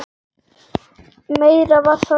Meira var það ekki.